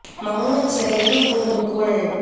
மௌனச் சிறையின் கூண்டுக்குள்